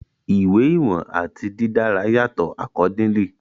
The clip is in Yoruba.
Iwe iwọn ati didara yatọ accordingly